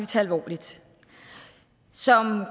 tage alvorligt som